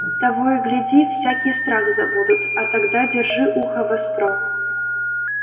того и гляди всякий страх забудут а тогда держи ухо востро